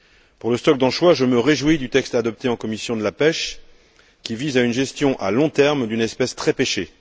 Pour le stock d'anchois, je me réjouis du texte adopté en commission de la pêche, qui vise à une gestion à long terme d'une espèce très pêchée.